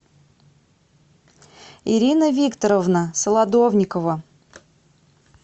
ирина викторовна солодовникова